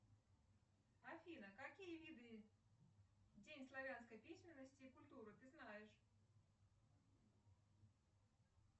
афина какие виды день славянской письменности и культуры ты знаешь